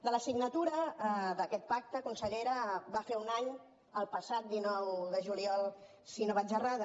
de la signatura d’aquest pacte consellera va fer un any el passat dinou de juliol si no vaig errada